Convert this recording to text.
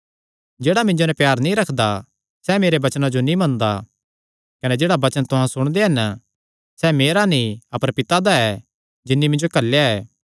जेह्ड़ा मिन्जो नैं प्यार नीं रखदा सैह़ मेरेयां वचनां नीं मनदा कने जेह्ड़ा वचन तुहां सुणदे हन सैह़ मेरा नीं अपर पिता दा ऐ जिन्नी मिन्जो घल्लेया